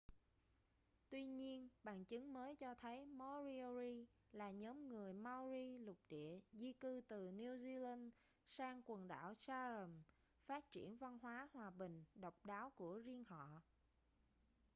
tuy nhiên bằng chứng mới cho thấy moriori là nhóm người maori lục địa di cư từ new zealand sang quần đảo chatham phát triển văn hóa hòa bình độc đáo của riêng họ